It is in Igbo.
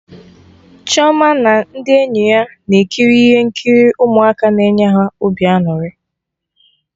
Chioma na ndị enyi ya na-ekiri ihe nkiri ụmụaka na enye ha obi aṅụrị